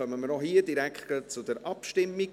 Dann kommen wir auch hier direkt zur Abstimmung.